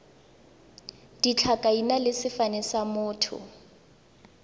ditlhakaina le sefane sa motho